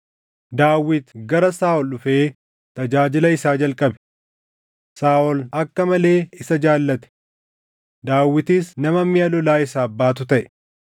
Daawit gara Saaʼol dhufee tajaajila isaa jalqabe. Saaʼol akka malee isa jaallate; Daawitis nama miʼa lolaa isaaf baatu taʼe.